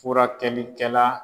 Furakɛlikɛla